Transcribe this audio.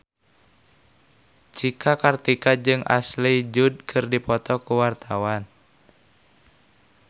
Cika Kartika jeung Ashley Judd keur dipoto ku wartawan